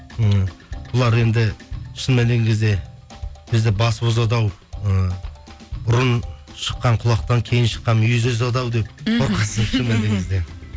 м бұлар енді шын мәніне келген кезде бізді басып озады ау ы бұрын шыққан құлақтан кейін шыққан мүйіз озаду ау деп